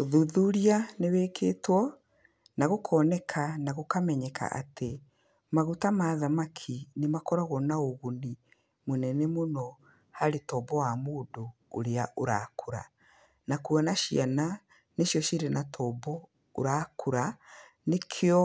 Ũthuthuria nĩ wĩkĩtwo na gũkoneka na gũkamenyeka atĩ, maguta mathamaki, nĩmakoragwo na ũguni mũnene mũno harĩ tombo wa mũndũ ũrĩa ũrakũra na kuona ciana nĩcio ciĩna tombo ũrakũra, nĩkĩo